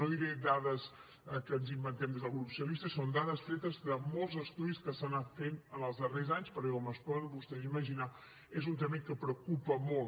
no diré dades que ens inventem des del grup socialista són dades tretes de molts estudis que s’han anat fent els darrers anys perquè com es poden vostès imaginar és un tema que preocupa i molt